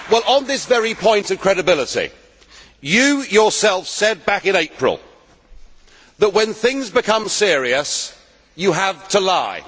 On this very point of credibility, you yourself said back in April that, when things become serious, you have to lie.